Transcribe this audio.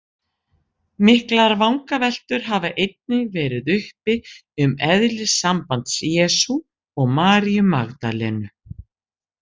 Miklar vangaveltur hafa einnig verið uppi um eðli sambands Jesú og Maríu Magdalenu.